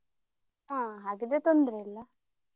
ಹಾ ಹಾಗಾದ್ರೆ ತೊಂದ್ರೆ ಇಲ್ಲಾ.